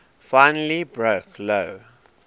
finally broke lou